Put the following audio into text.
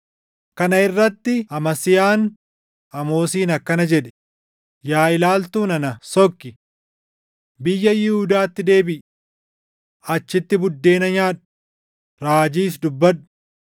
Kana irratti Amasiyaan Amoosiin akkana jedhe; “Yaa ilaaltuu nana, sokki! Biyya Yihuudaatti deebiʼi. Achitti buddeena nyaadhu; raajiis dubbadhu.